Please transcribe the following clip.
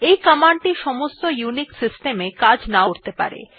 এই কমান্ডটি সমস্ত ইউনিক্স সিস্টেম এ কাজ নাও করতে পারে